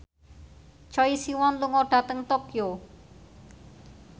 Choi Siwon lunga dhateng Tokyo